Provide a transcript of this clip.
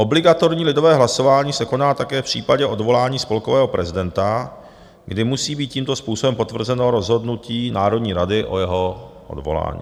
Obligatorní lidové hlasování se koná také v případě odvolání spolkového prezidenta, kdy musí být tímto způsobem potvrzeno rozhodnutí Národní rady o jeho odvolání.